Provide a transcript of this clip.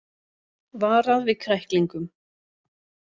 Varað við kræklingum